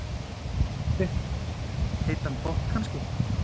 Fréttamaður: Heitan pott kannski?